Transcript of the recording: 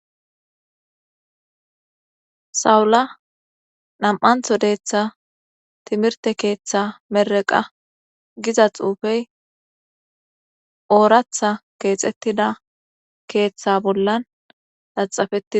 sawula nam'antho deeththa timirte keeththa mereqa giza xuufey ooratha keexettida keeththa bollan laxafetides